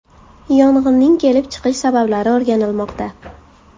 Yong‘inning kelib chiqish sabablari o‘rganilmoqda.